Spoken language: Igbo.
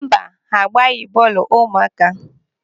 Mba, ha agbaghị bọọlụ ụmụaka.